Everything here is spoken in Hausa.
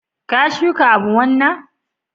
ka shuka abu wanna?